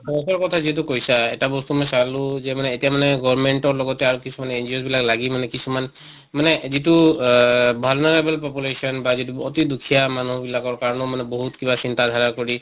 তাহাঁত কথা যিটো কৈছা এটা বস্তু মই চালো যে মানে এতিয়া মানে government ৰ লগতে আৰু কিছুমান NGOs বিলাক লাগি মানে কিছুমান মানে যিটো অহ vulnerable population বা যিটো অতি দুখিয়া মানিহ বিলাকৰ কাৰণেও বহুত কিবা চিন্তা ধাৰা কৰি